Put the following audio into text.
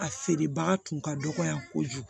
A feerebaga tun ka dɔgɔ yan kojugu